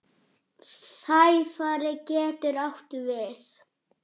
Sæfari getur átt við